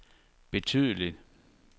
betydeligt